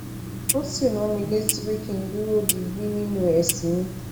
ó sì rán mi létí pé kí n duro digbi ninu ẹ̀sìn mi